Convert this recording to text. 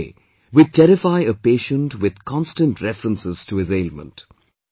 In a way, we terrify a patient with constant references to his ailment